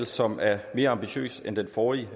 som er mere ambitiøs end den forrige